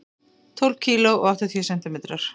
Tólf kíló og áttatíu sentimetrar.